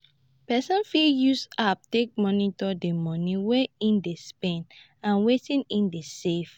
person fit use apps take monitor di money wey im dey spend and wetin im dey save